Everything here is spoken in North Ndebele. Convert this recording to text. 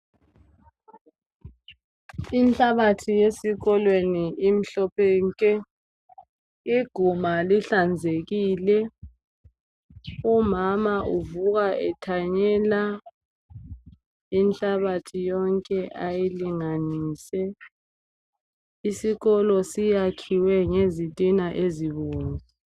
Inhlabathi yesikolweni imhlophe nke! Iguma lihlanzekile , umama uvuka ethanyela inhlabathi yonke ayilinganise. Isikolo siyakhiwe ngezitina ezibomvu.